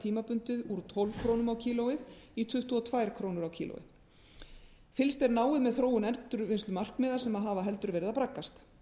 tímabundið úr tólf krónu kílógrömm fylgst er náið með þróun endurvinnslumarkmið í krónum endurvinnslumark að sem hafa heldur verið að braggast